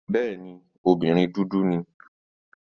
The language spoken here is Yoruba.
Bẹ́ẹ̀ni, obìnrin dúdú ni.